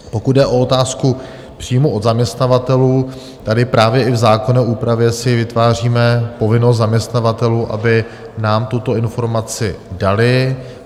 Pokud jde o otázku přímo od zaměstnavatelů, tady právě i v zákonné úpravě si vytváříme povinnost zaměstnavatelů, aby nám tuto informaci dali.